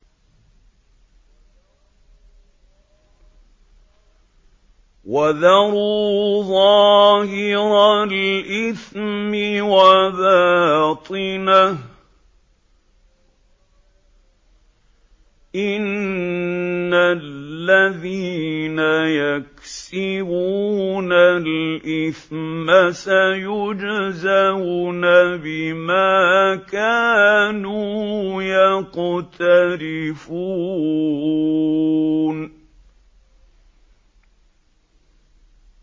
وَذَرُوا ظَاهِرَ الْإِثْمِ وَبَاطِنَهُ ۚ إِنَّ الَّذِينَ يَكْسِبُونَ الْإِثْمَ سَيُجْزَوْنَ بِمَا كَانُوا يَقْتَرِفُونَ